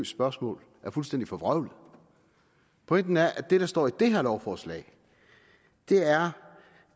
spørgsmål er fuldstændig forvrøvlet pointen er at det der står i det her lovforslag er